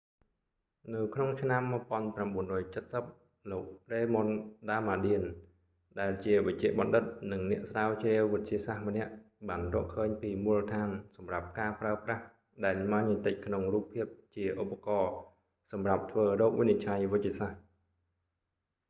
នៅក្នុងឆ្នាំ 1970 លោក raymond damadian រ៉េម៉ុន ដាមាឌៀន ដែលជាវេជ្ជបណ្ឌិត និងអ្នកស្រាវជ្រាវវិទ្យាសាស្ត្រម្នាក់បានរកឃើញពីមូលដ្ឋានសម្រាប់ការប្រើប្រាស់ដែនម៉ាញេទិកក្នុងរូបភាពជាឧបករណ៍សម្រាប់ធ្វើរោគវិនិច្ឆ័យវេជ្ជសាស្ត្រ